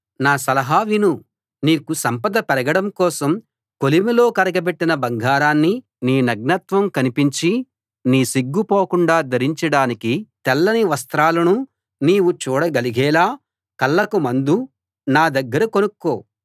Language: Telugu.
నా సలహా విను నీకు సంపద పెరగడం కోసం కొలిమిలో కరగబెట్టిన బంగారాన్నీ నీ నగ్నత్వం కనిపించి నీ సిగ్గు పోకుండా ధరించడానికి తెల్లని వస్త్రాలనూ నీవు చూడగలిగేలా కళ్ళకు మందు నా దగ్గర కొనుక్కో